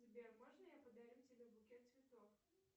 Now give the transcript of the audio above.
сбер можно я подарю тебе букет цветов